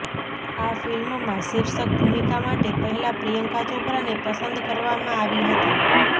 આ ફિલ્મમાં શિર્ષક ભૂમિકા માટે પહેલાં પ્રિયંકા ચોપરાને પસંદ કરવામાં આવી હતી